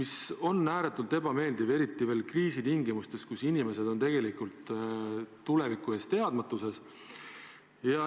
See on ääretult ebameeldiv, eriti kriisitingimustes, kus inimesed ei tea, mis tulevik toob.